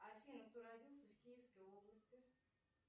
афина кто родился в киевской области